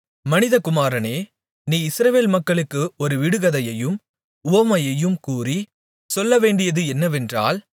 மனிதகுமாரனே நீ இஸ்ரவேல் மக்களுக்கு ஒரு விடுகதையையும் உவமையையும் கூறி சொல்லவேண்டியது என்னவென்றால்